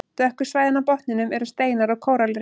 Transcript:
Dökku svæðin á botninum eru steinar og kóralrif.